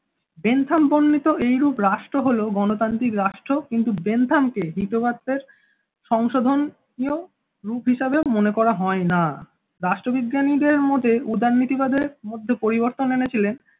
Bentham বর্ণিত এইরূপ রাষ্ট্র হল গণতান্ত্রিক রাষ্ট্র কিন্তু বেন্থাম কে হিতোবাদের সংশোধনীও রূপ হিসাবে মনে করা হয় না, রাষ্ট্র বিজ্ঞানীদের মতে উদারনীতিবাদ এর মধ্যে পরিবর্তন এনেছিলেন।